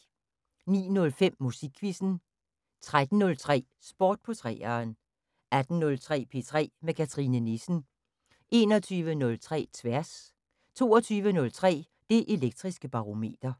09:05: Musikquizzen 13:03: Sport på 3'eren 18:03: P3 med Cathrine Nissen 21:03: Tværs 22:03: Det Elektriske Barometer